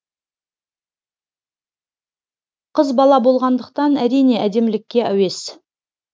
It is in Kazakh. қыз бала болғандықтан әрине әдемілікке әуес